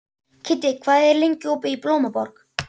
Kiddi, hvað er lengi opið í Blómaborg?